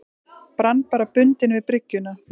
Brann bara bundinn við bryggjuna.